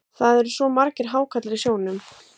Það eru svo margir hákarlar í sjónum.